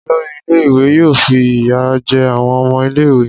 Olori ile-iwe yoo fi iya jẹ awọn ọmọ ile-iwe.